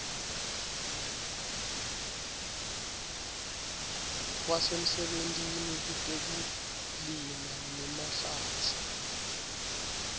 kwasemsebentini kutekulima nemahlatsi